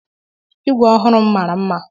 Igwe ọhụrụ m mara mma.